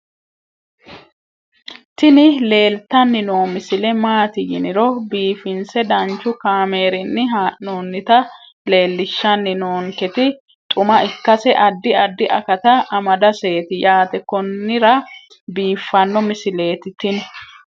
tini leeltanni noo misile maaati yiniro biifinse danchu kaamerinni haa'noonnita leellishshanni nonketi xuma ikkase addi addi akata amadaseeti yaate konnira biiffanno misileeti tini